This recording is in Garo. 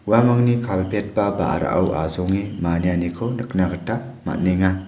uamangni kalpet ba ba·rao asonge manianiko nikna gita man·enga.